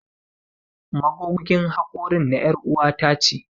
Magogin hakorin na er'uwa ta ce.